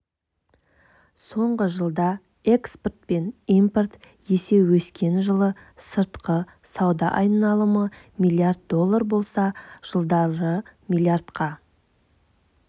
соңғы жылда экспорт пен импорт есе өскен жылы сыртқы сауда айналымы млрд доллар болса жылдары млрд-қа